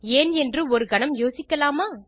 ஏன் என்று ஒரு கணம் யோசிக்கலாமா160